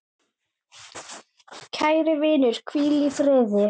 Kæri vinur, hvíl í friði.